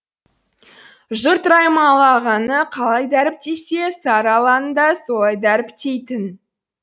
жұрт раймалы ағаны қалай дәріптесе сарыаланы да солай дәріптейтін